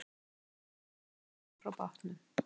Sterkur straumur bar hann frá bátnum